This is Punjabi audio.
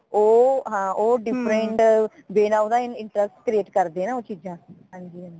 ਉਹ ਹਾਂ ਹਮ ਉਹ different way ਦਾਉਦਾ interest create ਕਰਦੇ ਹੈ ਨਾ ਉਸ ਚੀਜਾਂ ਹਾਂਜੀ ਹਾਂਜੀ